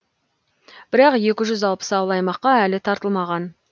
бірақ екі жүз алпыс ауыл аймаққа әлі тартылмаған